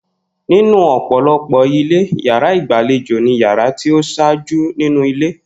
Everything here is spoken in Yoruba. Nínú ò̩pò̩lo̩pò̩ ilé, yàrá ìgbàlejò ni yàrá tí ó s̩áájú nínú ilé